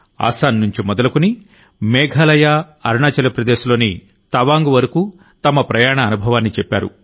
అస్సాం నుంచి మొదలుకుని మేఘాలయ అరుణాచల్ప్రదేశ్లోని తవాంగ్ వరకు తమ ప్రయాణ అనుభవాన్ని చెప్పారు